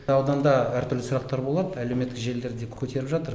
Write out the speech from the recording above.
ауданда әр түрлі сұрақтар болады әлеуметтік желілерде көтеріп жатыр